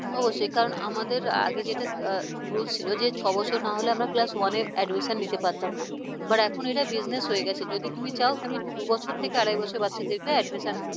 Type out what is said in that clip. কারন আমাদের আগে যেটা rules ছিল যে ছয় বছর না হলে আমরা class one admission নিতে পারতাম না but এখন এটা business হয়ে গেছে যদি তুমি চাও তুমি দুবছর থেকে আড়াই বছর বাচ্চাদের admission